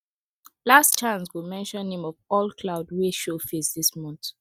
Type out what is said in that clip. last chant go mention name of all cloud wey show face this month